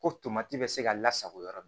Ko tomati bɛ se ka lasago yɔrɔ min